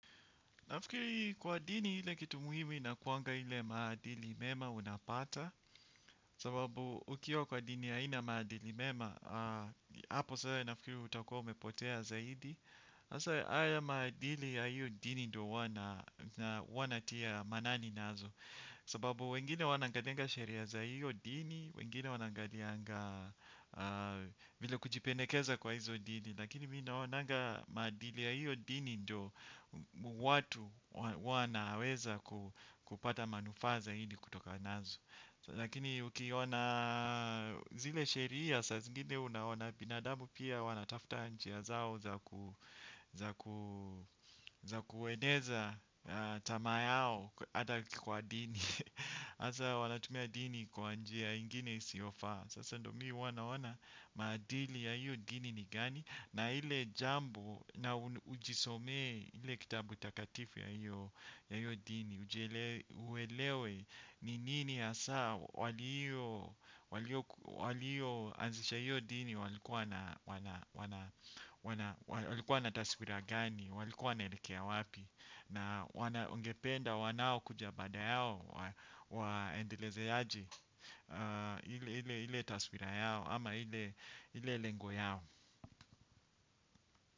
Nafikiri kuwa dini ile kitu muhimu inakuanga hile maadili mema unapata. Sababu ukiwa kwa dini haina maadili mema hapo sasa nafikiri utakua umepotea zaidi hasaa haya maadili ya hiyo dini ndo huwa natia maanani nazo. Sababu wengine huwa wanaangalianga sharia za hiyo dini. Wengine wanaangalianga vile kujipendekeza kwa hizo dini. Lakini mimi naonanga madili ya hiyo dini ndio watu wanaweza kupata manufaa zaidi kutoka nazo. Lakini ukiona zile sheria saa zingine unaona binadabu pia wanatafta njia zao za kueneza tamaa yao hata kwa dini hasaa wanatumia dini kwa njia ingine isiyofa. Sasa ndio mimi huwa naona madili ya hiyo dini ni gani. Na ile jambo na ujisomee ile kitabu takatifu ya hiyo dini. Uelewe ni nini hasaa waliyo waliyo anzisha hiyo dini walikuwa na taswira gani. Waliku wanaelekea wapi. Na wanaongependa wanao kuja baada yao waendeleze aje ile taswira yao ama ile lengo yao.